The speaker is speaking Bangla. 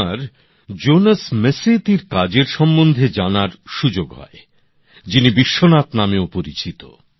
আমার জোনেস মেসেত্তির কাজের সম্বন্ধে জানার সুযোগ হয় যিনি বিশ্বনাথ নামেও পরিচিত